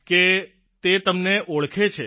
કે તે તમને ઓળખે છે